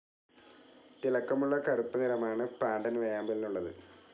തിളക്കമുള്ള കറുപ്പ് നിറമാണ് പാണ്ടൻ വേഴാമ്പലിനുള്ളത്.